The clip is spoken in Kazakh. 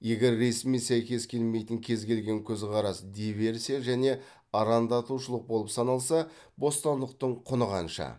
егер ресми сәйкес келмейтін кез келген көзқарас диверсия және арандатушылық болып саналса бостандықтың құны қанша